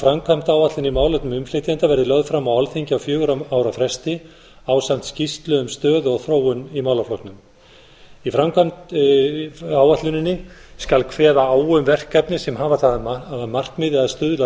framkvæmdaáætlun í málefnum innflytjenda verði lögð fram á alþingi á fjögurra ára fresti ásamt skýrslu um stöðu og þróun í málaflokknum í framkvæmdaáætluninni skal kveða á um verkefni sem hafa það að markmiðið að stuðla að